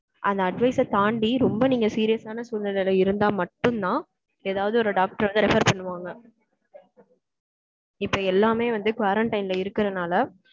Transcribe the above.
அந்த advice அ தாண்டி, ரொம்ப நீங்க serious ஆன சூழ்நிலையில இருந்தா மட்டும்தான், ஏதாவது ஒரு doctor வந்து refer பண்ணுவாங்க. இப்ப எல்லாமே வந்து, quarantine ல இருக்கறதுனால,